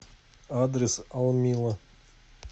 адрес алмила